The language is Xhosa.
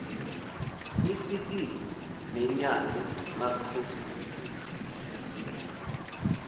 isikizi nenyal emaxhoseni